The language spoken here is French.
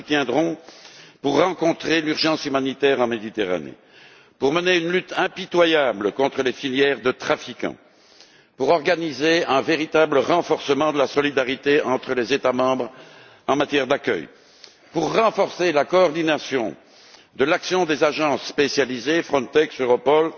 Nous la soutiendrons pour faire face à l'urgence humanitaire en Méditerranée, pour mener une lutte impitoyable contre les filières de trafiquants, pour organiser un véritable renforcement de la solidarité entre les États membres en matière d'accueil et pour accentuer la coordination de l'action des agences spécialisées Frontex, Europol